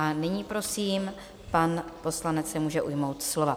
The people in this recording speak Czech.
A nyní prosím, pan poslanec se může ujmout slova.